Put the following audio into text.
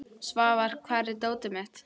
Svafar, hvar er dótið mitt?